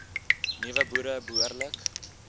nuwe boere behoorlik